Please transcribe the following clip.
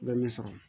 Bɛ min sɔrɔ